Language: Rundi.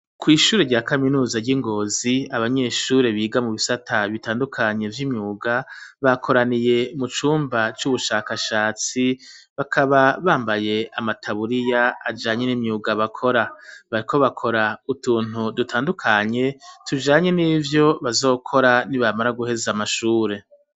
kw,ishuri rya kaminuza ry'ingozi abanyeshuri biga mu bisata bitandukanye vy'imyuga, bakoraniye mu cumba c'ubushakashatsi bakaba bambaye amataburiya ajanye n'imyuga bakora, bariko bakora utuntu dutandukanye tujanye n'ivyo bazokora nibamara guheza amashure.